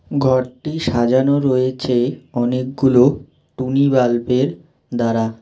ঘরটি সাজানো রয়েছে অনেকগুলো টুনি বাল্বের দ্বারা।